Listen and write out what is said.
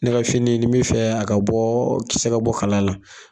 Ne kɛ fini ni mi fɛ a ka bɔ kisɛ ka bɔ kala la.